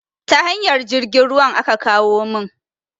Ta hanyar jirgin ruwan aka kawo mun